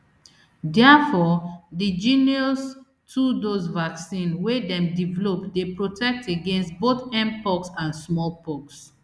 diafore di jynneos two dose vaccine wey dem develop dey protect against both mpox and small pox